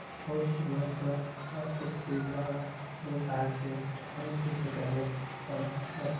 बहुत ही मस्त मस्त सुविधा बा लोग आ के ठहर भी सकल है और मस्त--